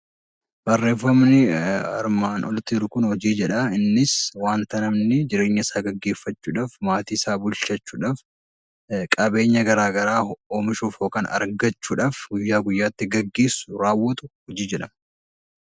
Barreeffamni armaan oliitti jiru kuni hojii jedha, innis waanta namni jireenya isaa geggeeffachuudhaaf, maatii isa bulfachuudhaaf, qabeenya garaagaraa oomishuuf argachuudhaaf guyyaa guyyaatti geggeessuu, raawwatu hojii jedhama.